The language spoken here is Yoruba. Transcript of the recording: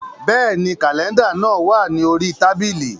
Bẹ́ẹ̀ni, kàlẹ́ndà náà wà ní orí tábìlì